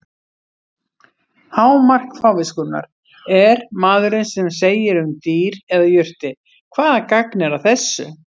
Hámark fáviskunnar er maðurinn sem segir um dýr eða jurtir: Hvaða gagn er að þessu?